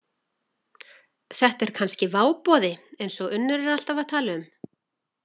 Þetta er kannski váboði eins og Unnur er alltaf að tala um.